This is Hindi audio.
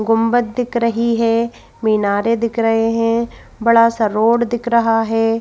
गुंबत दिख रही है मीनारे दिख रहे हैं बड़ा सा रोड दिख रहा है।